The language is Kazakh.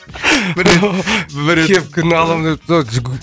бір рет бір рет кепканы аламын